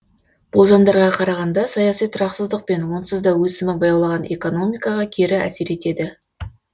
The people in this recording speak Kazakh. болжамдарға қарағанда саяси тұрақсыздық онсызда өсімі баяулаған экономикаға кері әсер етеді